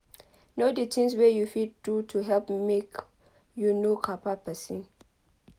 know di things wey you fit do to help make you no kpai person